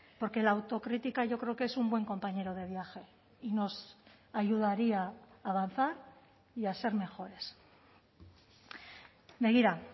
porque la autocrítica yo creo que es un buen compañero de viaje y nos ayudaría a avanzar y a ser mejores begira